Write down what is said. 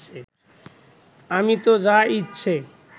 আমি তো যা ইচ্ছে